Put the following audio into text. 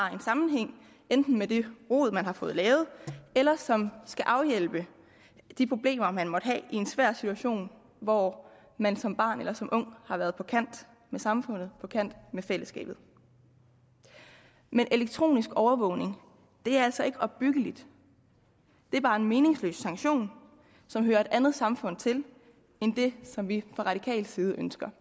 har en sammenhæng med det rod man har fået lavet eller som skal afhjælpe de problemer man måtte have i en svær situation hvor man som barn eller som ung har været på kant med samfundet på kant med fællesskabet men elektronisk overvågning er altså ikke opbyggeligt det er bare en meningsløs sanktion som hører et andet samfund til end det som vi fra radikal side ønsker